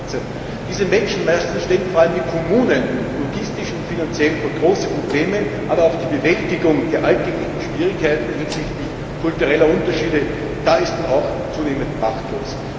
2014. Diese Menschenmassen stellen vor allem die Kommunen logistisch und finanziell vor große Probleme, aber auch bei der Bewältigung der alltäglichen Schwierigkeiten hinsichtlich kultureller Unterschiede ist man zunehmend machtlos.